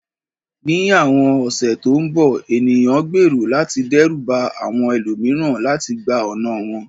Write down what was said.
Ní àwọn ọ̀sẹ̀ tó ń bọ̀, ènìyàn gbèrò láti dẹ́rù ba àwọn ẹlòmíràn láti gba ọ̀nà wọn.